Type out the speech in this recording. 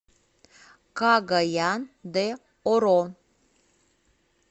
кагаян де оро